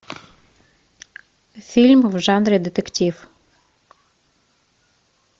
фильм в жанре детектив